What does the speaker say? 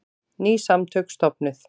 Ný samtök stofnuð